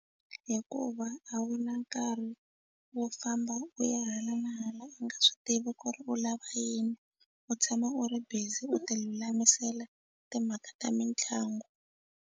Hikuva a wu na nkarhi wo famba u ya hala na hala u nga swi tivi ku ri u lava yini u tshama u ri busy u ti lulamisela timhaka ta mitlangu.